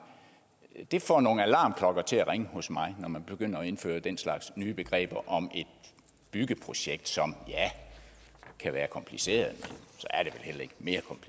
men det får nogle alarmklokker til at ringe hos mig når man begynder at indføre den slags nye begreber om et byggeprojekt som ja kan være kompliceret men